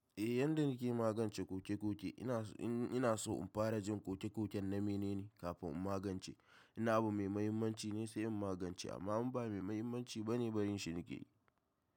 Eh, yadda nake magance koke-koke, ina so in fara jin koke-koken na menene kafin in magance. Inna abune mai mahimmanci ne sai in magance, amma ba mai mahimmanci bane barin shi nake yi.